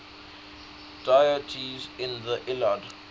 deities in the iliad